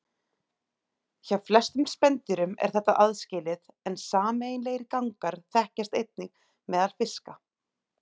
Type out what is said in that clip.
Hjá flestum spendýrum er þetta aðskilið en sameiginlegir gangar þekkjast einnig á meðal fiska.